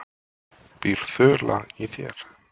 Býr ÞULA í þér?